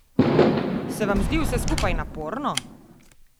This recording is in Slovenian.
Se vam zdi vse skupaj naporno?